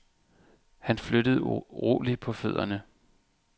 Han flyttede uroligt på fødderne.